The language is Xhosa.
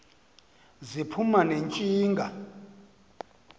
ziphuma ne ntshinga